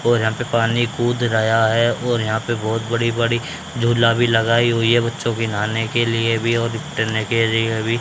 और यहां पर पानी कूद रहा है और यहां पर बहोत बड़ी बड़ी झूला भी लगाई हुई है बच्चों की नहाने के लिए भी और टहलने के लिए भी।